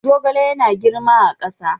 Zogale yana girma a ƙasa.